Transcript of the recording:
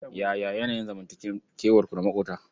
Yaya yanayin zanmantakewarku da maƙota?